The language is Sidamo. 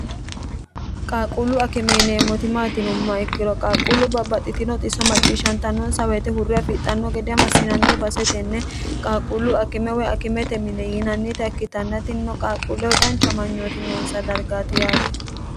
qaaqquullu akime yineemmoti maati yinummoha ikkiro qaaqquullu babbaxxitino xisso macciishshantannonsa woyite hurre afixxanno gede massinanni base tenne qaaquullu akime woy akimete mine yiinannita ikkitanna tinino qaaqquulleho dhancha amangnooti noonsa dargaati yaati.